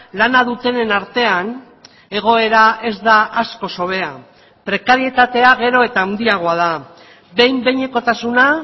lana dutenen artean egoera ez da askoz hobea prekarietatea gero eta handiagoa da behin behinekotasuna